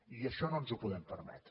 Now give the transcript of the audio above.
i això no ens ho podem permetre